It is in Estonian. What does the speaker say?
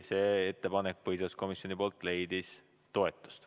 See põhiseaduskomisjoni ettepanek leidis toetust.